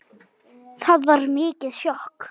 Það var mikið sjokk.